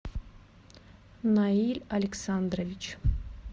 наиль александрович